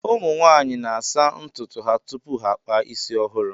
ụmụ nwaanyị na-asa ntụtụ ha tupu ha akpa isi ọhụrụ